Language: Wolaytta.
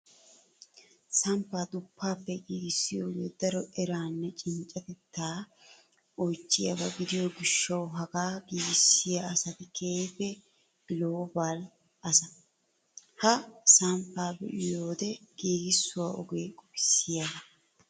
Samppaa duffaappe giigissiyoogee daro eraanne cinccatettaa oychchiyaabaa gidiyoo gishshawu hagaa giigissiyaa asati keehiippe global asa. Ha samppaa be'iyoode giigissuwaa ogee qofissiyaagaa